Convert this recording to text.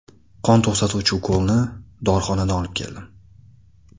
Qon to‘xtatuvchi ukolni dorixonadan olib keldim.